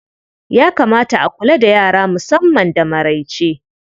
Ya kamata a kula da yara musamman da maraice.